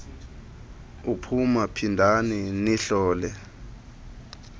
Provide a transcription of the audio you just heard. uphuma phindani nihlole